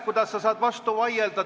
Kuidas sa saad vastu vaielda?